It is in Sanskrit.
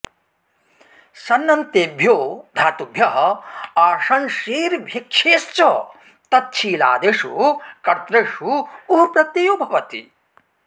सन्नन्तेभ्यो धातुभ्यः आशंसेर् भिक्षेश्च तच्छीलादिषु कर्तृषु उः प्रत्ययो भवति